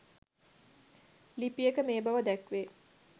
ලිපියක මේ බව දැක්වේ.